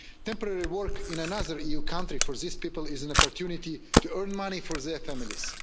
Temporary work in another EU country for these people is an opportunity to earn money for their families.